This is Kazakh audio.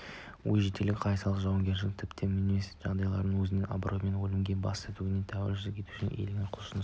өжеттілік қайсарлық жауынгердің тіпті мүмкін емес деген жағдайдың өзінде абыроймен өлімге бас тігуге тәуекел етушілік игілікті құлшыныс